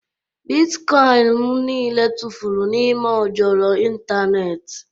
Bịtkọin m niile tụfuru n'ime ojoro ịntanetị